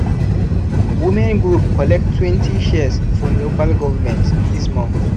women group collect twenty shears from local govment this month.